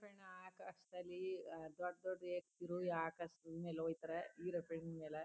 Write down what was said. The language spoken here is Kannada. ಆಕಾಶದಲ್ಲಿ ದೊಡ್ಡ್ ದೊಡ್ಡ್ ವ್ಯಕ್ತಿಗಳು ಆಕಾಶ್ದ್ ಮೇಲೆ ಹೊಯ್ತಾರೆ ಈರೋಪ್ಲೇನ್ ಮೇಲೆ --